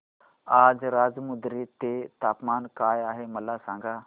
आज राजमुंद्री चे तापमान काय आहे मला सांगा